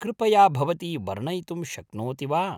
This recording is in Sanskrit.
कृपया भवती वर्णयितुं शक्नोति वा ?